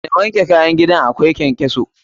Daina wanke bayan gidan akwai ƙenƙeso!